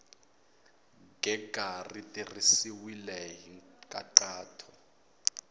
gega ri tirhisiwile hi nkhaqato